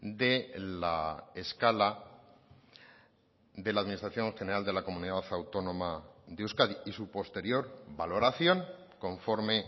de la escala de la administración general de la comunidad autónoma de euskadi y su posterior valoración conforme